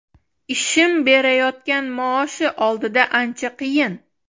Ishim berayotgan maoshi oldida ancha qiyin.